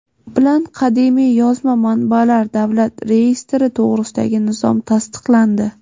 bilan Qadimiy yozma manbalar davlat reyestri to‘g‘risidagi nizom tasdiqlandi.